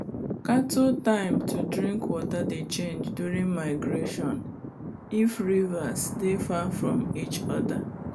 cattle time to drink water dey change during migration if rivers dey far from each other